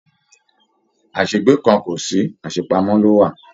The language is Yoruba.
Asegbe kàn o sí, àṣepamọ̀ ló wà.